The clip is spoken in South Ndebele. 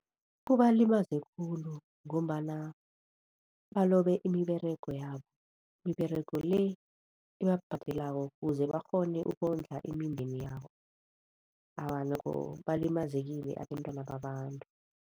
Kubalimaze khulu ngombana balobe imiberego yabo, imiberego le ebabhadelako ukuze barhone ukondla imindeni yabo. Awa, nokho balimazekile abentwana babantu.